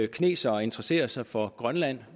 kinesere interesserer sig for grønland